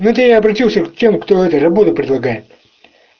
вот я и обратился к тем кто это работу предлагает